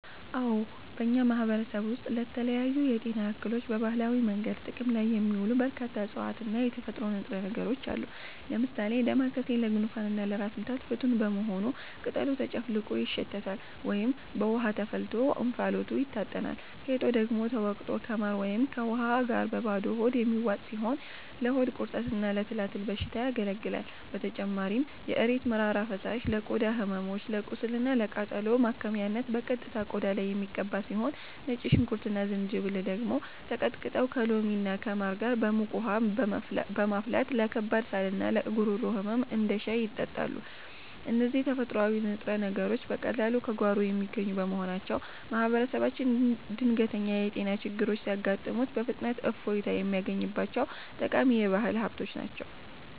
አዎ፣ በእኛ ማህበረሰብ ውስጥ ለተለያዩ የጤና እክሎች በባህላዊ መንገድ ጥቅም ላይ የሚውሉ በርካታ እፅዋትና የተፈጥሮ ንጥረ ነገሮች አሉ። ለምሳሌ ዳማከሴ ለጉንፋንና ለራስ ምታት ፍቱን በመሆኑ ቅጠሉ ተጨፍልቆ ይሸተታል ወይም በውሃ ተፈልቶ እንፋሎቱ ይታጠናል፤ ፌጦ ደግሞ ተወቅጦ ከማር ወይም ከውሃ ጋር በባዶ ሆድ የሚዋጥ ሲሆን ለሆድ ቁርጠትና ለትላትል በሽታ ያገለግላል። በተጨማሪም የእሬት መራራ ፈሳሽ ለቆዳ ህመሞች፣ ለቁስልና ለቃጠሎ ማከሚያነት በቀጥታ ቆዳ ላይ የሚቀባ ሲሆን፣ ነጭ ሽንኩርትና ዝንጅብል ደግሞ ተቀጥቅጠው ከሎሚና ከማር ጋር በሙቅ ውሃ በመፈልፈል ለከባድ ሳልና ለጉሮሮ ህመም እንደ ሻይ ይጠጣሉ። እነዚህ ተፈጥሯዊ ንጥረ ነገሮች በቀላሉ ከጓሮ የሚገኙ በመሆናቸው፣ ማህበረሰባችን ድንገተኛ የጤና ችግሮች ሲያጋጥሙት በፍጥነት እፎይታ የሚያገኝባቸው ጠቃሚ የባህል ሀብቶች ናቸው።